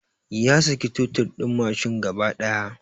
Ya saki totir din mashin gaba daya